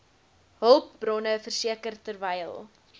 hulpbronne verseker terwyl